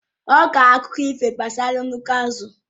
Ọ kọrọ ha akụkụ ifo gbasara nnukwu azụ